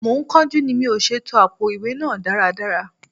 Mo ń kánjú ni mò ṣe to àpótí ìwé náà dáradára.